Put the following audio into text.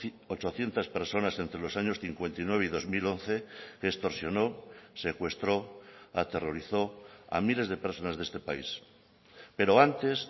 ochocientos personas entre los años cincuenta y nueve y dos mil once que extorsionó secuestró aterrorizó a miles de personas de este país pero antes